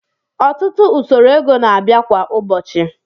Ọtụtụ usoro ego na-abịa kwa ụbọchị